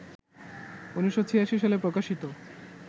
১৯৮৬ সালে প্রকাশিত